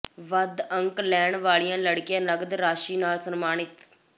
ਵੱਧ ਅੰਕ ਲੈਣ ਵਾਲੀਆਂ ਲੜਕੀਆਂ ਨਕਦ ਰਾਸ਼ੀ ਨਾਲ ਸਨਮਾਨਿਤ